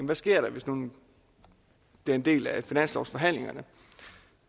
der sker hvis nu den bliver en del af finanslovsforhandlingerne